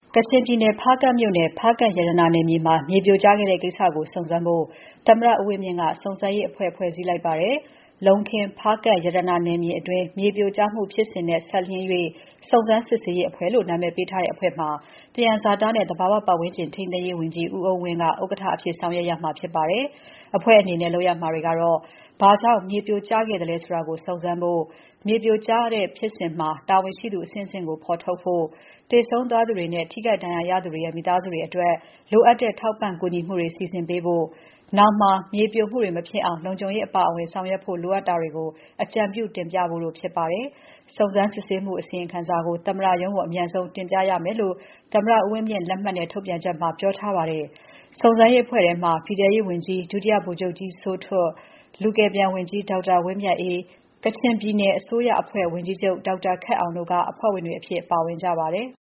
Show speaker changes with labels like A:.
A: ကချင်ပြည်နယ် ဖားကန့်မြို့နယ် ဖားကန့်ရတနာနယ်မြေမှာ မြေပြိုကျခဲ့တဲ့ကိစ္စကို စုံစမ်းဖို့ သမ္မတဦးဝင်းမြင့်က စုံစမ်းရေးအဖွဲ့ ဖွဲ့စည်းလိုက်ပါတယ်။ လုံးခင်း၊ ဖားကန့် ရတနာနယ်မြေအတွင်း မြေပြိုကျမှုဖြစ်စဉ်နဲ့ စပ်လျဉ်း၍ စုံစမ်းစစ်ဆေးရေးအဖွဲ့လို့ နာမည်ပေးထားတဲ့အဖွဲ့မှာ သယံဇာတနဲ့ သဘာဝပတ်ဝန်းကျင် ထိန်းသိမ်းရေးဝန်ကြီး ဦးအုန်းဝင်းက ဥက္ကဋ္ဌအဖြစ် ဆောင်ရွက်ရမှာဖြစ်ပါတယ်။ အဖွဲ့အနေနဲ့ လုပ်ရမှာတွေကတော့ ဘာကြောင့် မြေပြိုကျခဲ့သလဲဆိုတာကို စုံစမ်းဖို့၊ မြေပြိုကျတဲ့ဖြစ်စဉ်မှာ တာဝန်ရှိသူအဆင့်အဆင့်ကို ဖော်ထုတ်ဖို့၊ သေဆုံးသွားသူတွေနဲ့ ထိခိုက်ဒဏ်ရာရသူတွေရဲ့ မိသားစုတွေအတွက် လိုအပ်တဲ့ထောက်ပံ့ကူညီမှုတွေ စီစဉ်ပေးဖို့၊ နောင်မှာ မြေပြိုမှုတွေ မဖြစ်အောင် လုံခြုံရေးအပါအဝင် ဆောင်ရွက်ဖို့လိုအပ်တာတွေကို အကြံပြုတင်ပြဖို့တို့ဖြစ်ပါတယ်။ စုံစမ်းစစ်ဆေးမှု အစီရင်ခံစာကို သမ္မတရုံးကို အမြန်ဆုံးတင်ပြရမယ်လို့ သမ္မတဦးဝင်းမြင့်လက်မှတ်နဲ့ ထုတ်ပြန်ချက်ထဲမှာ ပြောထားပါတယ်။ စုံစမ်းရေးအဖွဲ့ထဲမှာ ပြည်ထဲရေးဝန်ကြီး ဒုတိယဗိုလ်ချုပ်ကြီးစိုးထွဋ်၊ လူကယ်ပြန်ဝန်ကြီး ဒေါက်တာဝင်းမြတ်အေး၊ ကချင်ပြည်နယ်အစိုးရအဖွဲ့ဝင်ကြီးချုပ် ဒေါက်တာခက်အောင်တို့က အဖွဲ့ဝင်တွေအဖြစ် ပါဝင်ကြပါတယ်။